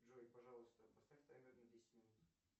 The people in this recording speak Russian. джой пожалуйста поставь таймер на десять минут